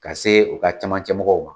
Ka se u ka camancɛ mɔgɔw ma.